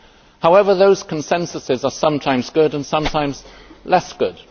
However, those consensuses are sometimes good and sometimes less good.